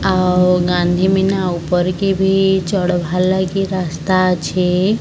ଆଉ ଗାନ୍ଧୀ ମୀନା ଉପରକେ ଭି ଚଢ଼ବାର ଲାଗି ରାସ୍ତା ଅଛେ।